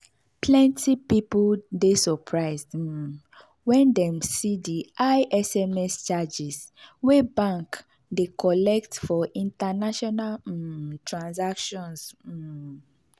plenty people dey surprised um when dem see the high sms charges wey bank dey collect for international um transactions. um